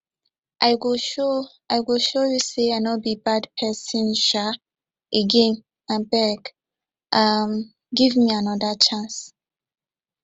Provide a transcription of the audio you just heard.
i go show i go show you sey i no be bad pesin um again abeg um give me anoda chance